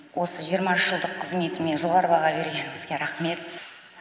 осы жиырма үш жылдық қызметіме жоғарғы баға бергеніңізге рахмет